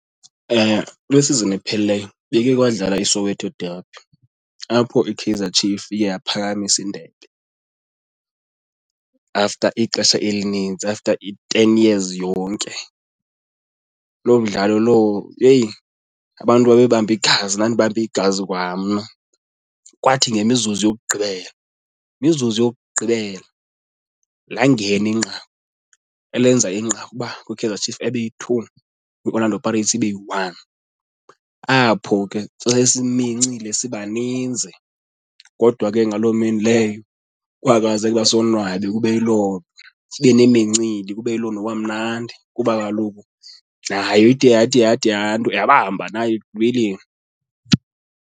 Kule sizini ephelileyo beke kwadlala iSoweto derby apho iKaizer Chiefs iye yaphakamisa indebe after ixesha elinintsi, after i-ten years yonke. Loo mdlalo lowo, yeyi, abantu babebambe igazi ndandibambe igazi kwamna. Kwathi ngemizuzu yokugqibela, imizuzu yokugqibela langena inqaku elenza inqaku uba kwiKaizer Chiefs abe yi-two kwiOrlando Pirates ibe yi-one. Apho ke sasesimincile siba ninzi kodwa ke ngaloo mini leyo kwakwazeka uba sonwabe kube yiloo, sibe nemincili kube yiloo nto kwamnandi kuba kaloku nayo ide yathi yathi yanto yabamba nayo ekugqibeleni.